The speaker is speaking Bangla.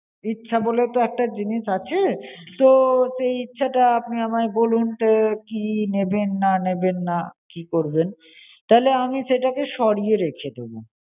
ইচ্ছা বলেও তো একটা জিনিস আছে, তো সেই ইচ্ছাটা আপনি আমায় বলুন, কি নেবেন না নেবেন না কি করবেন, তাহলে আমি সেটাকে সরিয়ে রেখে দেবো।